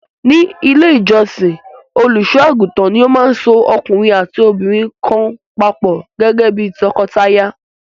Ní Ilé-ìjọsìn, olùṣọ́-àgùntàn ni ó máa so ọkùnrin àti obìnrin kan papọ̀ gẹ́gẹ́ bí tọkọtaya.